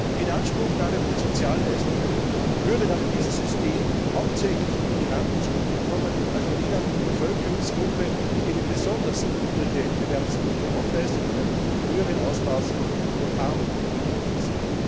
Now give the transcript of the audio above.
Die Inanspruchnahme von Sozialleistungen würde nach diesem System hauptsächlich Migranten zugute kommen, also jener Bevölkerungsgruppe, die eine besonders niedrige Erwerbsquote aufweist und in einem höheren Ausmaß von Armut betroffen ist.